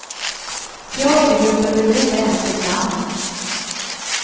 Teatergruppen behöver inte ens ett namn.